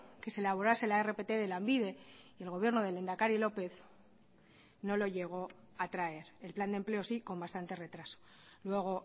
que se elaborase la rpt de lanbide y el gobierno del lehendakari lópez no lo llego a traer el plan de empleo sí con bastante retraso luego